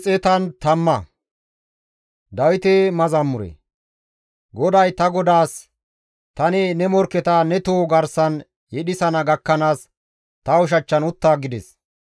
GODAY ta Godaas, «Tani ne morkketa ne toho garsan yedhisana gakkanaas, ta ushachchan utta» gides.